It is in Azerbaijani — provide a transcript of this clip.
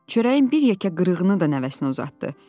Çörəyin bir yekə qırığını da nəvəsinə uzatdı.